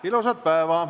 Ilusat päeva!